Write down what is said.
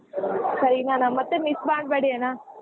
ಸರಿನಾ ಮತ್ತೆ miss ಮಾಡ್ಬೇಡಿ ಅಣ್ಣಾ.